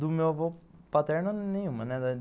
Do meu avô paterno, nenhuma.